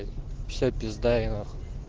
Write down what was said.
все пизда ей нахуй